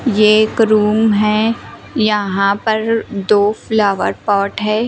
ये एक रूम है यहां पर दो फ्लावर पॉट है।